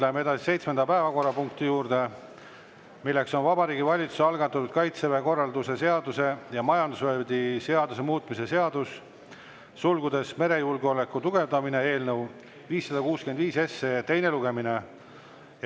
Läheme seitsmenda päevakorrapunkti juurde: Vabariigi Valitsuse algatatud Kaitseväe korralduse seaduse ja majandusvööndi seaduse muutmise seaduse eelnõu 565 teine lugemine.